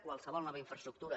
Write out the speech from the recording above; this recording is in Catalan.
qualsevol nova infraestructura